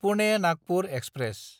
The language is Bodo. पुने–नागपुर एक्सप्रेस